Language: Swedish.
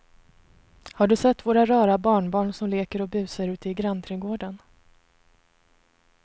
Har du sett våra rara barnbarn som leker och busar ute i grannträdgården!